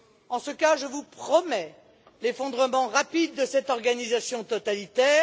En ce cas, je vous promets l'effondrement rapide de cette organisation totalitaire.